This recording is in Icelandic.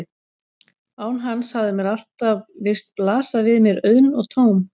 Án hans hafði mér alltaf virst blasa við mér auðn og tóm.